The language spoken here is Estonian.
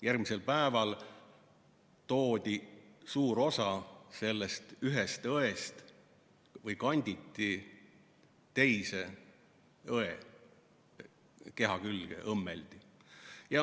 Järgmisel päeval toodi suur osa sellest ühest õest ja kanditi või õmmeldi teise õe keha külge.